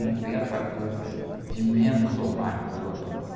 Não tem essa coisa de menos ou mais dolorosa.